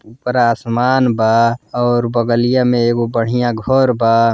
उपरा आसमान बा और बगलिया में एगो बढ़ियां घर बा।